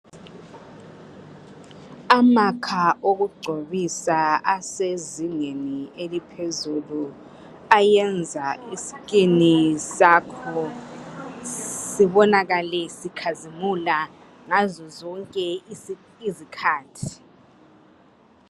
Amakha okugcobisa asezingeni eliphezulu, ayenza iskin sakho sibonakale, sikhazimule, ngazo zonke izikhathi.